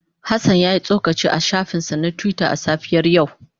Hassan ya yi tsokaci a shafinsa na Twitter a safiyar yau.